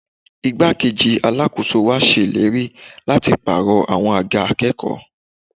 Igbá-kejì Alákóso wa ṣe ìlérí láti pàrọ̀ àwọn àga akẹ́kọ̀ọ́